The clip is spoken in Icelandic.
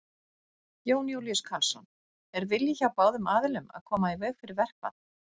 Jón Júlíus Karlsson: Er vilji hjá báðum aðilum að koma í veg fyrir verkfall?